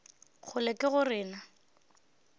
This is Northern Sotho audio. kgolo ke go re na